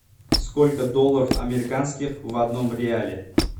сколько долларов американских в одном реале